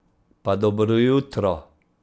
Pa dobro jutro!